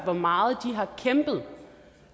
hvor meget de har kæmpet